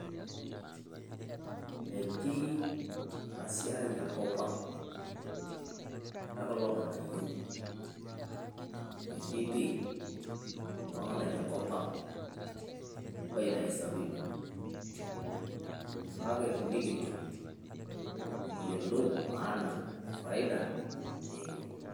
Metii ena siai enkop ang e kulo ng`anayio metii pii kulo ng`anayio enkop ang oitayu sapin. Kake tenikitum nikiyiolou maana o faida naa ekiun.